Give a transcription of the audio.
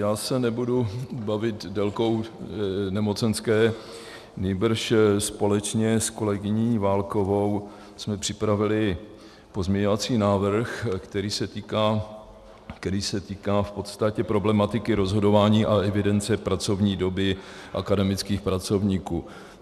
Já se nebudu bavit délkou nemocenské, nýbrž společně s kolegyní Válkovou jsme připravili pozměňovací návrh, který se týká v podstatě problematiky rozhodování a evidence pracovní doby akademických pracovníků.